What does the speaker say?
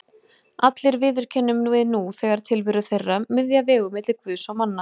Allir viðurkennum við nú þegar tilveru þeirra, miðja vegu milli Guðs og manna.